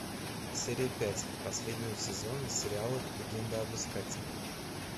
серия пять последнего сезона сериала легенда об искателе